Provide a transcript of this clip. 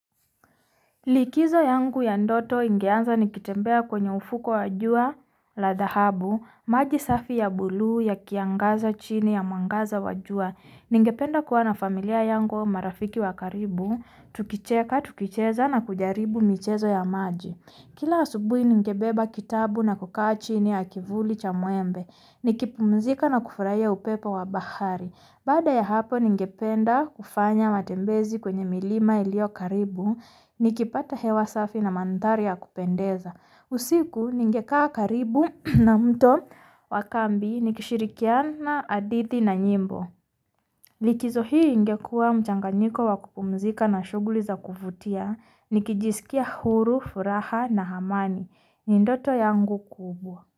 Likizo yangu ya ndoto ingeanza nikitembea kwenye ufuko wa jua la dahabu, maji safi ya buluu ya kiangaza chini ya mwangaza wa jua. Ningependa kuwa na familia yangu au marafiki wa karibu, tukicheka tukicheza na kujaribu michezo ya maji. Kila asubuhi ningebeba kitabu na kukaa chini ya kivuli cha muembe. Nikipumzika na kufurahia upepo wa bahari. Bada ya hapo ningependa kufanya matembezi kwenye milima iliyo karibu, nikipata hewa safi na mandhari ya kupendeza. Usiku ningekaa karibu na mto wa kambi nikishirikiana, hadithi na nyimbo. Likizo hii ingekuwa mchanganyiko wa kupumuzika na shughuli za kuvutia, nikijiskia huru, furaha na amani. Ni ndoto yangu kubwa.